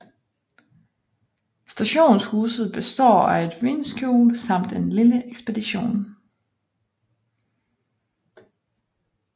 Stationshuset består af et vindskjul samt en lille ekspedition